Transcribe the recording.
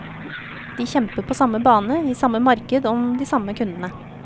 De kjemper på samme bane, i samme marked om de samme kundene.